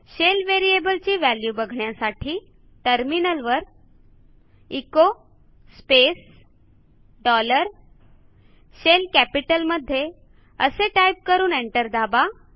shell variable ची value बघण्यासाठी टर्मिनलवर एचो स्पेस डॉलर शेल कॅपिटलमध्ये असे टाईप करून एंटर दाबा